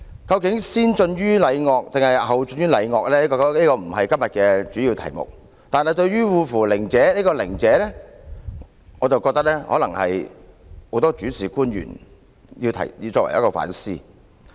究竟先進於禮樂，抑或後進於禮樂，這個不是今天的主要題目，但對於"惡夫佞者"中的"佞者"，我認為可能值得大部分問責官員反思。